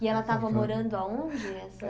E ela estava morando aonde?